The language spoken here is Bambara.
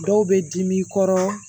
Dɔw bɛ dimi i kɔrɔ